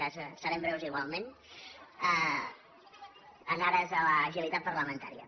cas serem breus igualment en ares de l’agilitat parlamentària